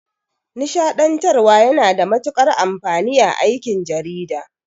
Nishaɗantarwa yana da matuƙar amfani a aikin jarida.